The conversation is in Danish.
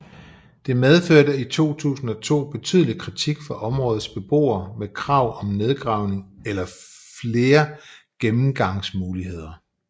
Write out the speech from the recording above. Det medførte i 2002 betydelig kritik fra områdets beboere med krav om nedgravning eller flere gennemgangsmuligheder